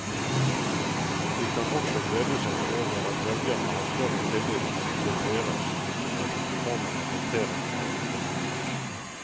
De kan også glede seg over at velgerne har større tillit til deres enn til republikanernes håndtering av økonomien.